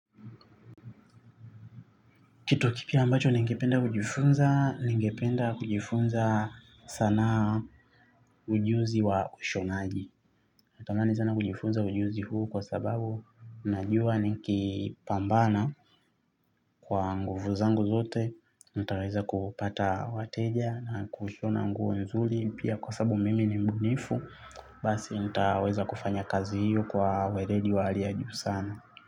Kitu kipya ambacho ningependa kujifunza, ningependa kujifunza sanaa ujuzi wa ushonaji. Natamani sana kujifunza ujuzi huu kwa sababu najua nikipambana kwa nguvu zangu zote. Nitaweza kupata wateja na kushona nguvu nzuri. Pia kwa sababu mimi ni mbunifu, basi nitaweza kufanya kazi hiyo kwa weledi wa hali ya juu sana.